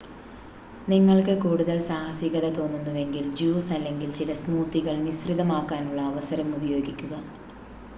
നിങ്ങൾക്ക് കൂടുതൽ സാഹസികത തോന്നുന്നുവെങ്കിൽ ജ്യൂസ് അല്ലെങ്കിൽ ചില സ്മൂത്തികൾ മിശ്രിതമാക്കാനുള്ള അവസരം ഉപയോഗിക്കുക